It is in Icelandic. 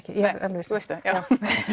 já